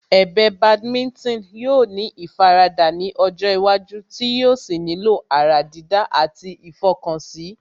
Ẹ̀bẹ̀ Badminton yóò ní ìfaradà ní ọjọ́ iwájú tí yóò sì nílò ará dídá àti ìfọkànsí